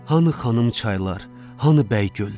Hanı xanım çaylar, hanı bəy göllər?